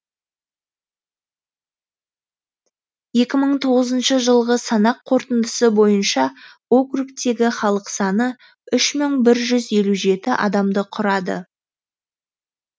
екі мың тоғызыншы жылғы санақ қорытындысы бойынша округтегі халық саны үш мың бір жүз елу жеті адамды құрады